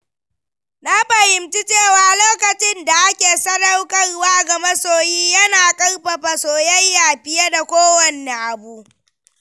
Na fahimci cewa lokacin da ake sadaukarwa ga masoyi yana ƙarfafa soyayya fiye da kowanne abu.